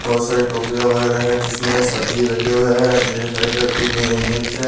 बहुत सारे टुकरिया वगैरह है जिसमें सब्जी रखे हुए हैं यहाँ एक करके मिर्च है।